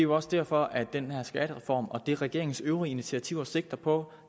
også derfor at den her skattereform og regeringens øvrige initiativer sigter på